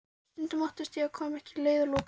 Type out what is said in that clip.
Stundum óttast ég að ég komist ekki að leiðarlokum.